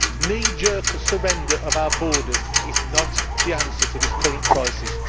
Knee jerk surrender of our borders is not the answer to this current crisis.